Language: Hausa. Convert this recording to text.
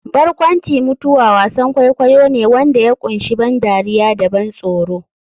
Barkwanci-mutuwa wasan kwaikwayo ne wanda ya kunshi ban dariya da ban tsoro.